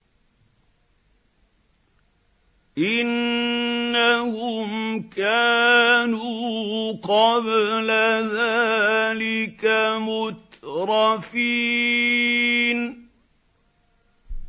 إِنَّهُمْ كَانُوا قَبْلَ ذَٰلِكَ مُتْرَفِينَ